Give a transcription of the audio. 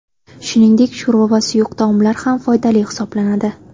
Shuningdek, sho‘rva va suyuq taomlar ham foydali hisoblanadi.